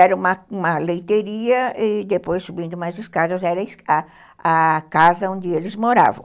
Era uma uma leiteria e depois subindo mais escadas era a casa onde eles moravam.